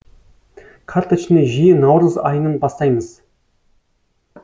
карточный жүйе наурыз айынан бастаймыз